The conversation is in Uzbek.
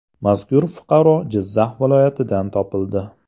Mazkur fuqaro Jizzax viloyatidan topildi.